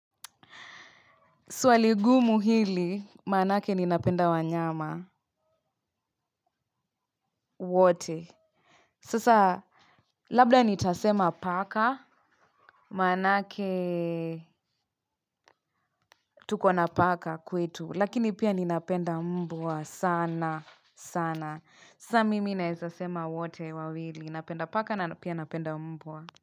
Swali gumu hili, maanake ninapenda wanyama wote. Sasa, labda nitasema paka, maanake tuko na paka kwetu. Lakini pia ninapenda mbwa sana, sana. Sasa, mimi naweza sema wote wawili. Napenda paka na pia napenda mbwa.